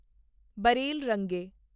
ਬਰੈਲ ਰੰਗੇ